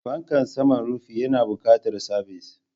Fankan saman rufi yana buƙatar sabis.